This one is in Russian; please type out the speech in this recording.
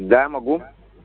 да могу